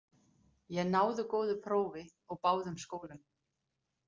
Ég náði góðu prófi úr báðum skólum.